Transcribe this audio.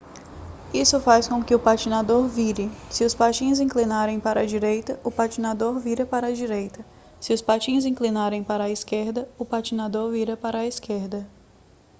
isso faz com que o patinador vire se os patins inclinarem para a direita o patinador vira para a direita se os patins inclinarem para a esquerda o patinador vira para a esquerda